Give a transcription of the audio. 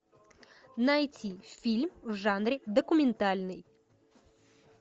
найти фильм в жанре документальный